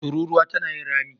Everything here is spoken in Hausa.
Tururuwa tana yin rami.